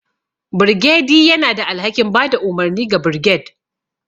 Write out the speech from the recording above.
Birgediy yana da alhakin ba da umarni ga birged,